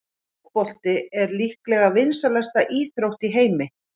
Fótbolti er líklega vinsælasta íþrótt í heimi.